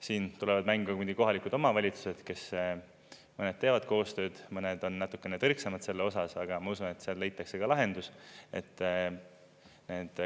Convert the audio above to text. Siin tulevad mängu kohalikud omavalitsused, kes mõned teevad koostööd, mõned on natukene tõrksamad selles osas, aga ma usun, et seal leitakse ka lahendus.